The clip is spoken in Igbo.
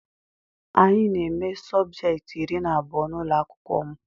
Anyị na eme subjecti iri na abụọ n'ụlọakwụkwọ m.